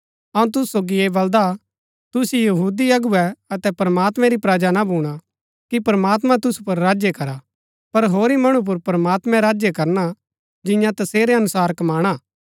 अऊँ तुसु सोगी ऐह बलदा तुसु यहूदी अगुवै अबै प्रमात्मैं री प्रजा ना भूणा कि प्रमात्मां तुसु पुर राज्य करा पर होरी मणु पुर प्रमात्मैं राज्य करना जियां तसेरै अनुसार कमाणा